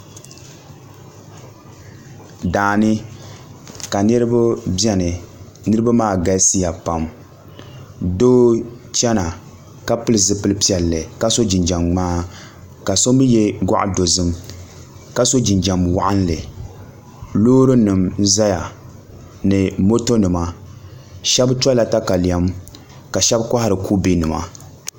Daani ka niraba biɛni niraba maa galisiya pam doo n chɛna ka pili zipili piɛlli ka so jinjɛm ŋmaa ka so mii yɛ goɣa dozim ka so jinjɛm waɣanli Loori nim n ʒɛya ni moto nima shab tola katalɛm ka kohari kubɛ nima